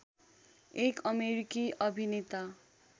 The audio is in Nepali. एक अमेरिकी अभिनेता